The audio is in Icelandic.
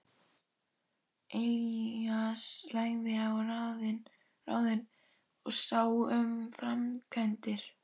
Elías lagði á ráðin og sá um framkvæmdir.